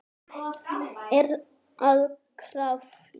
Er að krafla.